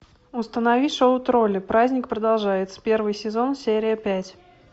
установи шоу тролли праздник продолжается первый сезон серия пять